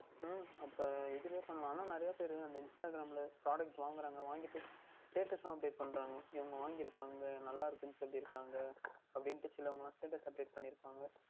உம் அப்பொழுது இதுலையே பண்ணலாம் ஆனால் நிறைய பேர் Instagram யில் Product வாங்குறாங்க வாங்கிவிட்டு Fake அஹ் Update பண்ணுகின்றார்கள் இவர்கள் வாங்கி இருக்கிறார்கள் நன்றாக இருக்கின்றது என்று சொல்லி இருக்கிறார்கள் அப்படி என்று சிலவர்கள் Status Update பண்ணிஇருக்கிறார்கள்